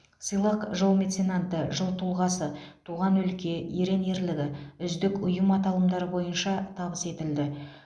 сыйлық жыл меценаты жыл тұлғасы туған өлке ерен ерлігі үздік ұйым аталымдары бойынша табыс етілді